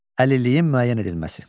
Əlilliyin müəyyən edilməsi.